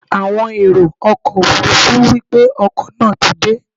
Àwọn èrò ọkọ̀ Òfurufú wípé ọkọ̀ náà ti dé.